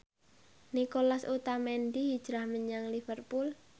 Nicolas Otamendi hijrah menyang Liverpool